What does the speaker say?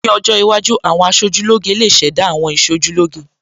Ní ọjọ́ iwájú, àwọn aṣojúlóge lè ṣẹ̀dá àwọn Ìṣojúlóge